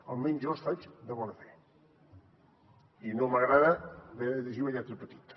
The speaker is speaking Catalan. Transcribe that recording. almenys jo els faig de bona fe i no m’agrada haver de llegir la lletra petita